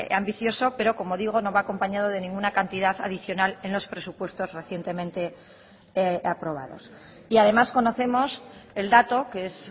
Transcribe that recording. ambicioso pero como digo no va acompañado de ninguna cantidad adicional en los presupuestos recientemente aprobados y además conocemos el dato que es